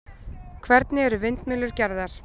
hvernig eru vindmyllur gerðar